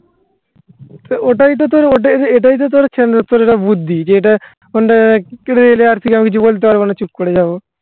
ওটাই তো তোর ওটাই তো তোর এটা বুদ্ধি যে এটা phone টা কেটে নিলে আর থেকে আমি কিছু বলতে এলে আর থেকে আমি কিছু বলতে পারবো না চুপ করে যাবো